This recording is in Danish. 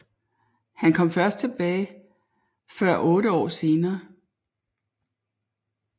Han kom først tilbage før otte år senere